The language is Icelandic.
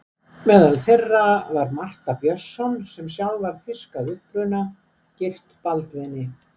Meðal þeirra var Martha Björnsson, sem sjálf var þýsk að uppruna, gift Baldvini